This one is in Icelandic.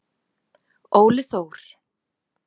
Óli Þór.